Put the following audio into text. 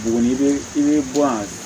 Buguni i bɛ bɔ yan